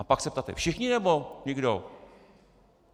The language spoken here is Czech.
A pak se ptáte: všichni, nebo nikdo?